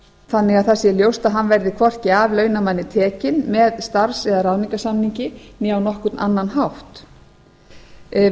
þannig að það sé ljóst að hann verði hvorki af launamanni tekinn með starfs eða ráðningarsamningi eða á nokkurn annan hátt við